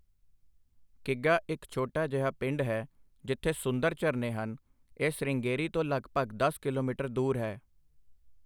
ਕਿਗਾ ਇੱਕ ਛੋਟਾ ਜਿਹਾ ਪਿੰਡ ਹੈ, ਜਿੱਥੇ ਸੁੰਦਰ ਝਰਨੇ ਹਨ, ਇਹ ਸ੍ਰਿੰਗੇਰੀ ਤੋਂ ਲਗਭਗ ਦਸ ਕਿਲੋਮੀਟਰ ਦੂਰ ਹੈ।